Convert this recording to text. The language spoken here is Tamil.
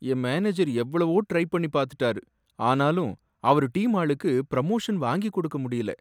என் மேனேஜர் எவ்வளவோ ட்ரை பண்ணி பாத்துட்டாரு, ஆனாலும் அவரு டீம் ஆளுக்கு ப்ரமோஷன் வாங்கிக் கொடுக்க முடியல